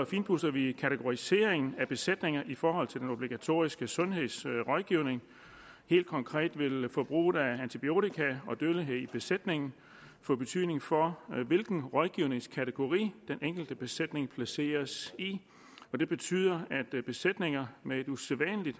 finpudser vi kategoriseringen af besætninger i forhold til den obligatoriske sundhedsrådgivning helt konkret vil forbruget af antibiotika og dødeligheden i besætningen få betydning for hvilken rådgivningskategori den enkelte besætning placeres i det betyder at besætninger med et usædvanlig